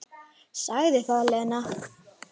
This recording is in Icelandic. Sagði það, Lena.